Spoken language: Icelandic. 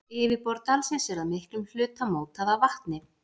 Yfirborð dalsins er að miklum hluta mótað af vatni.